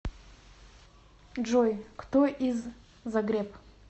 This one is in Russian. джой кто из загреб